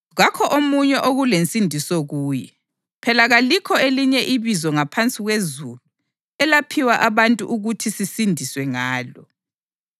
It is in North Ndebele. Kakho omunye okulensindiso kuye; phela kalikho elinye ibizo ngaphansi kwezulu elaphiwa abantu ukuthi sisindiswe ngalo.”